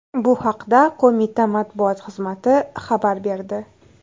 Bu haqda qo‘mita matbuot xizmati xabar berdi.